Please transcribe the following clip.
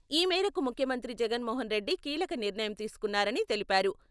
ఈ మేరకు ముఖ్యమంత్రి జగన్మోహనరెడ్డి కీలక నిర్ణయం తీసుకున్నారని తెలిపారు.